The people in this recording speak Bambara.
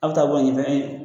Aw bi taa bɔ a ɲɛ .